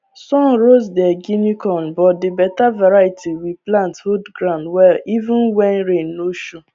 sun roast their guinea corn but the better variety we plant hold ground well even when rain no show